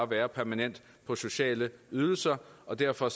være permanent på sociale ydelser og derfor